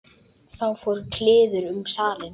Þá fór kliður um salinn.